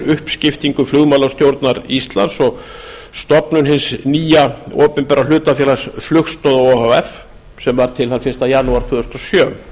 uppskiptingu flugmálastjórnar íslands og stofnun hins nýja opinbera hlutafélags flugstoða o h f sem varð til þann fyrsta janúar tvö þúsund og sjö